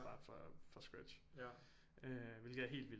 Bare fra fra scratch hvilket er helt vildt